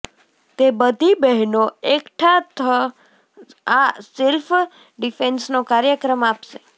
તે બધી બહેનો એકઠા થ આ સેલ્ફ ડિફેન્સનો કાર્યક્રમ આપશે